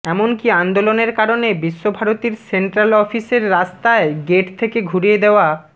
এমনকি আন্দোলনের কারণে বিশ্বভারতীর সেন্ট্রাল অফিসের রাস্তায় গেট থেকে ঘুরিয়ে দেওয়া